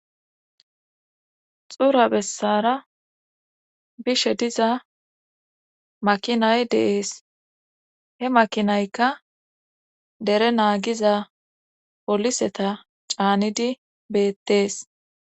xura bessara bishe diza makinay de,es he makinaykka dere naagiza poliseta caanidi beettees